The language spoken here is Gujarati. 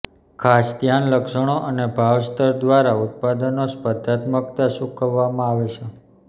ખાસ ધ્યાન લક્ષણો અને ભાવ સ્તર દ્વારા ઉત્પાદનો સ્પર્ધાત્મકતા ચૂકવવામાં આવે છે